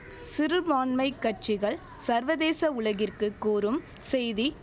சிறுபான்மை கட்சிகள் சர்வதேச உலகிற்கு கூறும் செய்தி